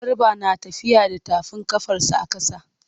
Garba na tafiya da tafin ƙafarsa a ƙasa.